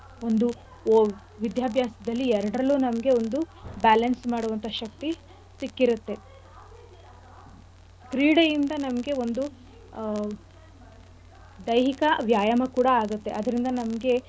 ಒಂದು ವಿದ್ಯಾಭ್ಯಾಸ್ದಲ್ಲಿ ಎರಡ್ರಲ್ಲೂ ನಮ್ಗೆ ಒಂದು balance ಮಾಡುವಂಥ ಶಕ್ತಿ ಸಿಕ್ಕಿರತ್ತೆ. ಕ್ರೀಡೆಯಿಂದ ನಮ್ಗೆ ಒಂದು ಆಹ್ ದೈಹಿಕ ವ್ಯಾಯಾಮ ಕೂಡ ಆಗತ್ತೆ ಅದ್ರಿಂದ ನಮ್ಗೆ.